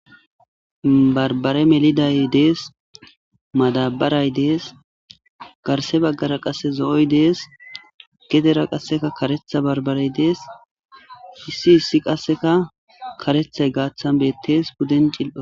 Barbare meliday dees madabaray dees garse baggara qase zo7oy dees gedera qasseka karetha barbarey dees issi issi qasseka karethay gaaththan bettees buden cil7a.